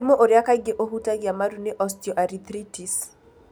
Mũrimũ ũrĩa kaingĩ ũhutagia marũ nĩ Osteoarthritis.